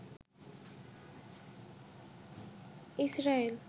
Israel